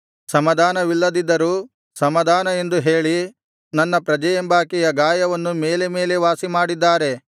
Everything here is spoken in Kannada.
ಸಮಾಧಾನವಿಲ್ಲದ್ದಿದ್ದರೂ ಸಮಾಧಾನ ಎಂದು ಹೇಳಿ ನನ್ನ ಪ್ರಜೆಯೆಂಬಾಕೆಯ ಗಾಯವನ್ನು ಮೇಲೆ ಮೇಲೆ ವಾಸಿಮಾಡಿದ್ದಾರೆ